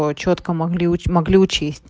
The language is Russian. а чётко мог могли учесть